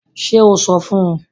Ṣe o sọ fun u!?